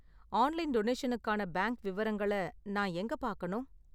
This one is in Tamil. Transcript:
ஆன்லைன் டொனேஷனுக்கான பேங்க் விவரங்களை நான் எங்க பார்க்கணும்?